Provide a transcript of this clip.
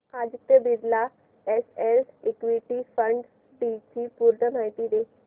Aditya Birla SL equity fund D ची पूर्ण माहिती दे